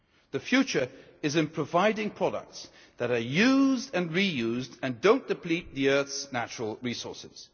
The future is in providing products that are used and reused and do not deplete the earth's natural resources.